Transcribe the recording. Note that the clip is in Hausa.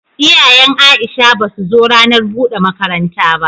Iyayen Aisha basu zo ranar bude makaranta ba.